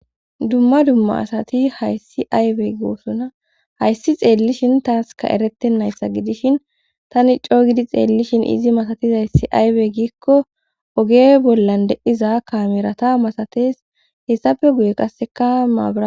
Dumma dumma asati hayssi aywey goosona hayssi xeellishin taaska erettennayssa gidishin tani cooygidi xeellishin izi masatizayssi aywe giikko oge bollan de7iza kamerata masates hessafe guye qasseka maabara